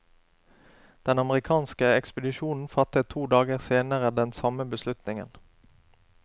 Den amerikanske ekspedisjonen fattet to dager senere den samme beslutningen.